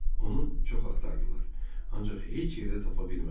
Onu çox axtardılar, ancaq heç yerdə tapa bilmədilər.